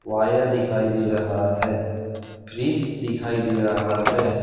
Wire दिखाई दे रहा हैं फ्रिज दिखाई दे रहा हैं।